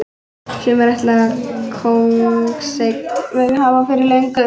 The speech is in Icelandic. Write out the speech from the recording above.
Sumir ætla það kóngseign verið hafa fyrir löngu.